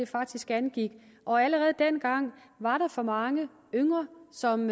faktisk angik allerede dengang var der for mange yngre som